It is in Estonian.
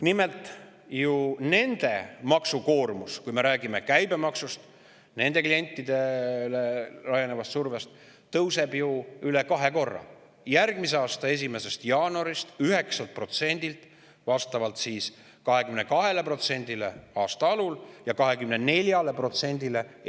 Nimelt, nende maksukoormus, kui me räägime käibemaksust ja nende klientidele laienevast survest, tõuseb ju üle kahe korra: järgmise aasta 1. jaanuarist 9%‑lt 22%‑le ja 1. juulist 24%‑le.